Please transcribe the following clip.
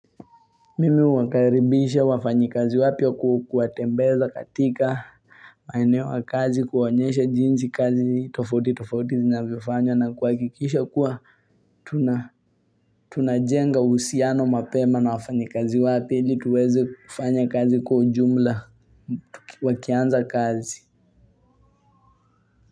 Mimi huwakaribisha wafanyikazi wapya kuwa kuwatembeza katika maeneo ya kazi kuwaonyesha jinsi kazi tofauti tofauti zinavyofanywa na kuhakikisha kuwa tunajenga uhusiano mapema na wafanyikazi wapya ili tuweze kufanya kazi kwa ujumla wakianza kazi.